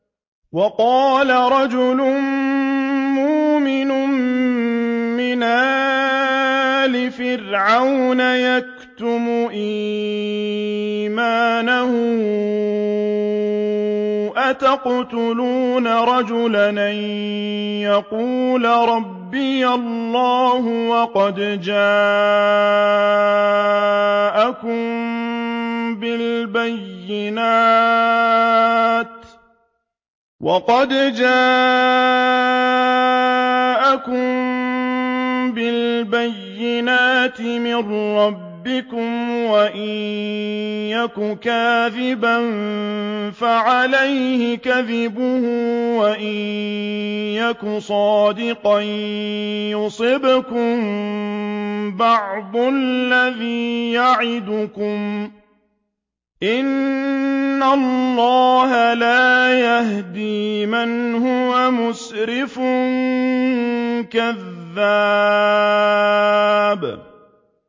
وَقَالَ رَجُلٌ مُّؤْمِنٌ مِّنْ آلِ فِرْعَوْنَ يَكْتُمُ إِيمَانَهُ أَتَقْتُلُونَ رَجُلًا أَن يَقُولَ رَبِّيَ اللَّهُ وَقَدْ جَاءَكُم بِالْبَيِّنَاتِ مِن رَّبِّكُمْ ۖ وَإِن يَكُ كَاذِبًا فَعَلَيْهِ كَذِبُهُ ۖ وَإِن يَكُ صَادِقًا يُصِبْكُم بَعْضُ الَّذِي يَعِدُكُمْ ۖ إِنَّ اللَّهَ لَا يَهْدِي مَنْ هُوَ مُسْرِفٌ كَذَّابٌ